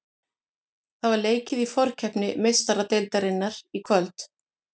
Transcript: Það var leikið í forkeppni Meistaradeildarinnar í kvöld.